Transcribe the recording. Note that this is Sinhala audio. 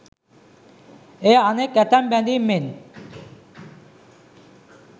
එය අනෙක් ඇතැම් බැදීම් මෙන්